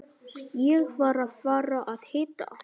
Ég var að fara að hitta